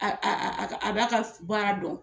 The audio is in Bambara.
Aaa a b'a ka baara dɔn